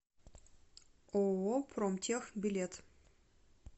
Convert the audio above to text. ооо промтех билет